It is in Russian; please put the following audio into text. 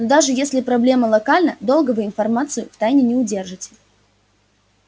даже если проблема локальна долго вы информацию в тайне не удержите